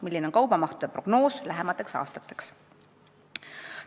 Milline on kaubamahtude prognoos lähemateks aastateks?